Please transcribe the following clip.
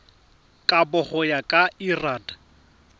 kabo go ya ka lrad